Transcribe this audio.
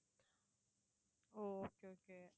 O okay okay